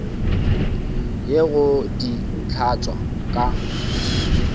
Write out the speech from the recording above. ye go di hlatswa ka